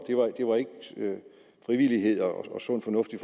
frivillighed og sund fornuft i